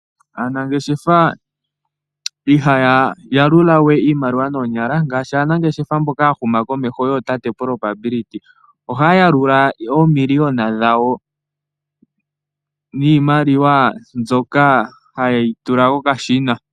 Aanangeshefa ihaya yalula we iimaliwa noonyala . Ngaashi aanangeshefa mboka ya huma komeho yootate Probability ohaya yalula oomiliyona dhawo niimaliwa mbyoka ha ye yi tula kokashina.